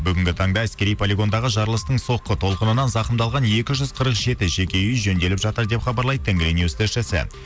бүгінгі таңда әскери полигондағы жарылыстың соққы толқынынан зақымдалған екі жүз қырық жеті жеке үй жөнделіп жатыр деп хабарлайды тенгринюс тілшісі